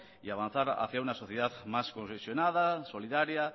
y avanzar hacia una sociedad más cohesionada solidaria